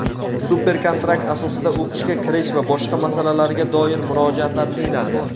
super kontrakt asosida o‘qishga kirish va boshqa masalalarga doir murojaatlar tinglandi.